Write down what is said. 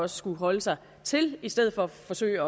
skulle holde sig til i stedet for at forsøge